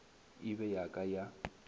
e be ya ka ya